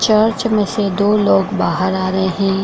Church में से दो लोग बाहर आ रहे हैं।